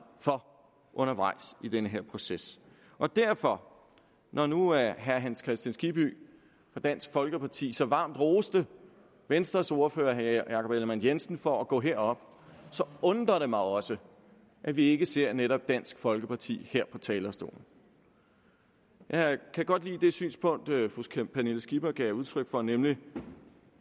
for undervejs i den her proces derfor når nu herre hans kristian skibby fra dansk folkeparti så varmt roste venstres ordfører herre jakob ellemann jensen for at gå herop undrer det mig også at vi ikke ser netop dansk folkeparti her på talerstolen jeg kan godt lide det synspunkt fru pernille skipper gav udtryk for nemlig